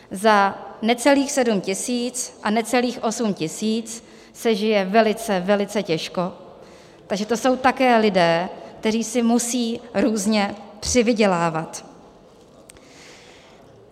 Za necelých 7 tisíc a necelých 8 tisíc se žije velice, velice těžko, takže to jsou také lidé, kteří si musí různě přivydělávat.